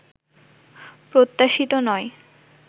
প্রত্যাশিত নয়